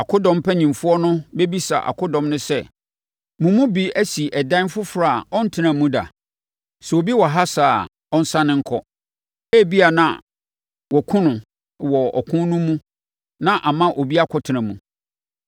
Akodɔm mpanimfoɔ no bɛbisa akodɔm no sɛ, “Mo mu bi asi ɛdan foforɔ a ɔntenaa mu da? Sɛ obi wɔ ha saa a, ɔnsane nkɔ! Ebia na wɔakum no wɔ ɔko no mu na ama obi akɔtena mu!